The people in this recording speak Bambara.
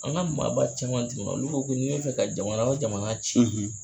An ka maaba caman tɛmɛna olu ko ko mori bi ka jamana o jamana ci